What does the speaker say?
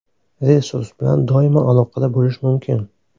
Resurs bilan doimo aloqada bo‘lish mumkin.